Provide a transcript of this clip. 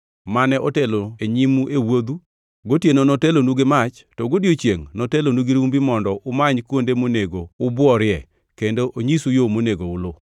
mane otelo nyimu e wuodhu, gotieno notelonu gi mach to godiechiengʼ notelonu gi rumbi mondo umany kuonde monego ubworie kendo onyisu yo monego uluw.